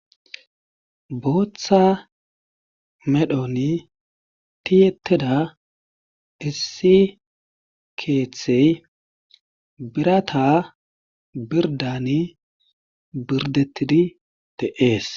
Bootha medhoni tiyettida issi keethey bbirata birddani birddettidi de7ees.